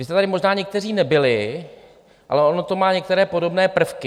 Vy jste tady možná někteří nebyli, ale ono to má některé podobné prvky.